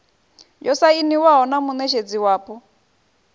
yo sainiwaho na muṋetshedzi wapo